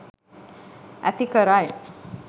ඇති කරයි.